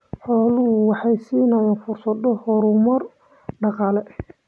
Xooluhu waxay siinayaan fursado horumar dhaqaale.